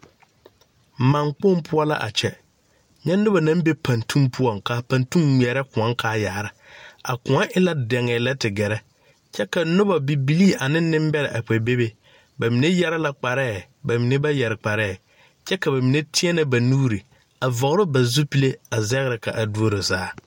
Maane kpoŋ poɔ la a kyɛ nye noba naŋ be pantuge poɔ ka a pantuge ŋmaare kõɔ kaa yaara, a kõɔ e la deŋee lɛ te gare ka noba bibilee ane nenbɛre a kpe be be ba mine yeere la kparɛ ba mine ba yeere kparɛ kyɛ ka ba mine teɛre ba nuure a vɔgle ba zupelee a zangre ka a doro saa.